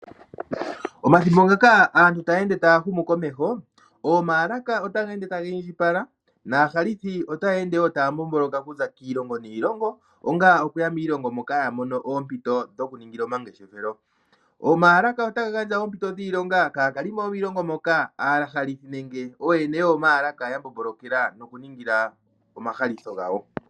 Omathimbo ngaka aantu taya ende taya humu komeho, oomaalaka otadhi ende tadhi indjipala naahalithi otaya ende wo taya mbomboloka okuza kiilongo niilongo, onga okuya kiilongo moka ya mono oompito dhoku ningila omangeshefelo. Oomaalaka otaga gandja oompito dhiilonga kaakalimo yomiilongo moka, aahalithi nenge ooyene yoomaalaka ya mbombolokela noku ningila omahalitho gawo.